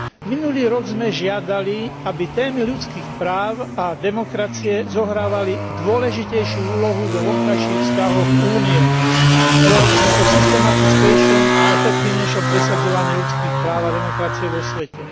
Minulý rok sme žiadali, aby témy ľudských práv a demokracie zohrávali dôležitejšiu úlohu vo vonkajších vzťahoch Únie. Volali sme po systematickejšom a efektívnejšom presadzovaní ľudských práv a demokracie vo svete.